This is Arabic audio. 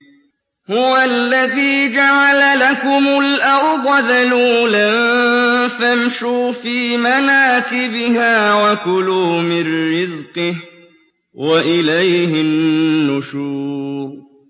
هُوَ الَّذِي جَعَلَ لَكُمُ الْأَرْضَ ذَلُولًا فَامْشُوا فِي مَنَاكِبِهَا وَكُلُوا مِن رِّزْقِهِ ۖ وَإِلَيْهِ النُّشُورُ